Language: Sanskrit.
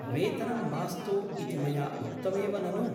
वेतनं मास्तु इति मया उक्तमेव ननु ?